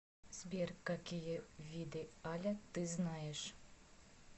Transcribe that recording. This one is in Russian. сбер какие виды аля ты знаешь